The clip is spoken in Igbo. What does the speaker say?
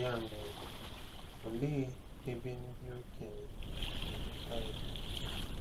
Ya mere, olee ebe ndị okenye si nweta ya?